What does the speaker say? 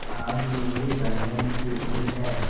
आज मेरे बंधन शिथिल हैं